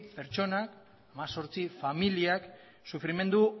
pertsona hemezortzi familiak sufrimendu